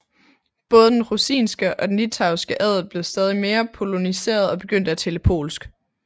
Både den rusinske og den litauiske adel blev stadig mere poloniseret og begyndte at tale polsk